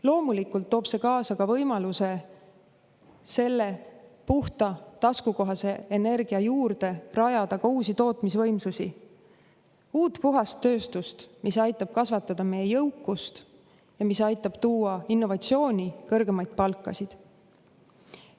Loomulikult toob see kaasa ka võimaluse rajada puhast ja taskukohast rajatise juurde uusi tootmisvõimsusi, uut puhast tööstust, mis aitab kasvatada meie jõukust ja tuua juurde innovatsiooni, kõrgemaid palkasid.